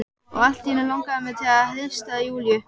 Og allt í einu langar mig til að hrista Júlíu.